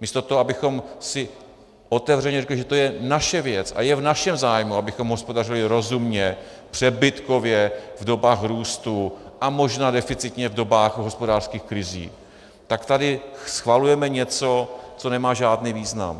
místo toho, abychom si otevřeně řekli, že to je naše věc a je v našem zájmu, abychom hospodařili rozumně, přebytkově v dobách růstu a možná deficitně v dobách hospodářských krizí, tak tady schvalujeme něco, co nemá žádný význam.